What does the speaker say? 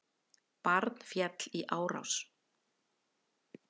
Barn féll í árás